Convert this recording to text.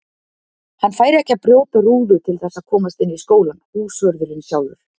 Hann færi ekki að brjóta rúðu til þess að komast inn í skólann, húsvörðurinn sjálfur!